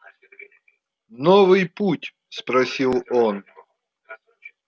новый путь спросил он